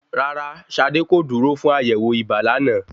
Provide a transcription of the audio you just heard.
Rárá, Ṣadé kò dúró fún àyẹ̀wò ibà lánàá.